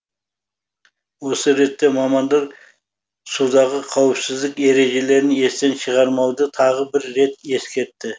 осы ретте мамандар судағы қауіпсіздік ережелерін естен шығармауды тағы бір рет ескертті